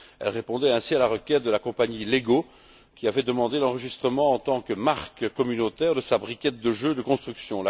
Elle répondait ainsi à la requête de la compagnie Lego, qui avait demandé l'enregistrement, en tant que marque communautaire, de sa briquette de jeu de construction.